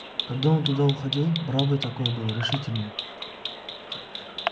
когда он туда уходил бравый такой был решительный